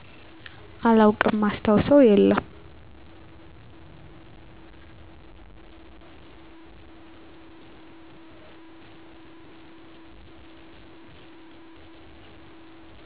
አላውቅም ማስታውሰው የለም